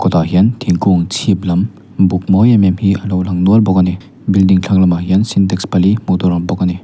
kawtah hian thingkung chhip lam buk mawi em em hi a lo lang nual bawk a ni building thlang lamah hian sintex pali hmuh tur a awm bawk a ni.